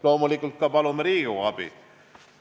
Loomulikult palume ka Riigikogu abi.